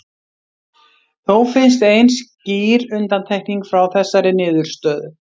Þó finnst ein skýr undantekning frá þessari niðurstöðu.